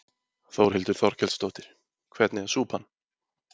Þórhildur Þorkelsdóttir: Hvernig er súpan?